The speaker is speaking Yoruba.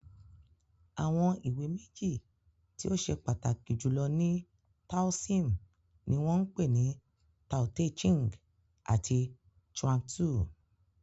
Àwọn ìwé meji tí ó ṣe pataki julọ ní taoism ní wan pé ní "Tao-te Ching" àti "Chuang-tzu"